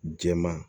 Jɛman